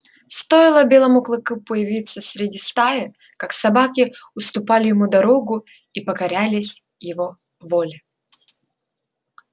стоило белому клыку появиться среди стаи как собаки уступали ему дорогу и покорялись его воле